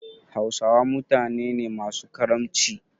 Hausawa mutane ne masu karamci.